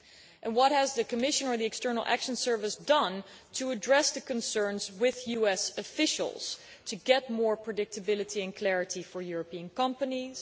And what has the Commission or the External Action Service done to address these concerns with US officials to get more predictability and clarity for European companies?